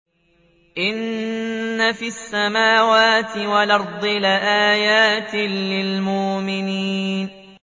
إِنَّ فِي السَّمَاوَاتِ وَالْأَرْضِ لَآيَاتٍ لِّلْمُؤْمِنِينَ